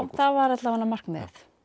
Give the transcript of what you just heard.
það var alla vega markmiðið